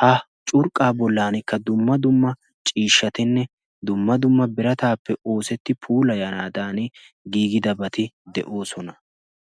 ha curqaa bolani ciishatinne dumma dumma birataappe oosetidabati de'oosona.